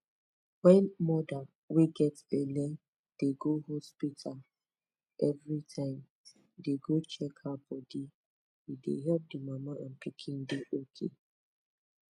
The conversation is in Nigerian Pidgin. wen moda wey get belle dey go hospita oeveri time dey go check her bodi e dey epp di mama and pikin dey ok